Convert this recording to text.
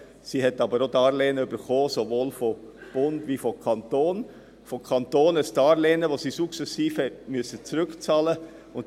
Sie hat aber auch Darlehen erhalten, sowohl vom Bund als auch vom Kanton; vom Kanton ein Darlehen, das sie sukzessive zurückzahlen muss.